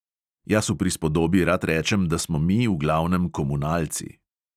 Jaz v prispodobi rad rečem, da smo mi v glavnem komunalci.